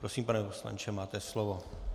Prosím, pane poslanče, máte slovo.